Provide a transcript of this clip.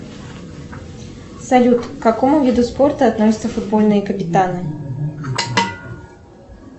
салют к какому виду спорта относятся футбольные капитаны